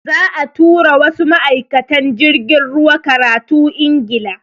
Za'a tura wasu ma'aikatan jirgin ruwa karatu Ingila.